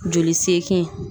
Joli sekin.